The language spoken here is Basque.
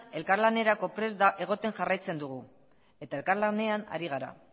elkarlanerako prest egoten jarraitzen dugu eta elkarlanean ari gara